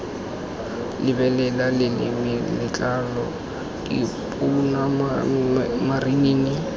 lebelela leleme letlalo dipounama marinini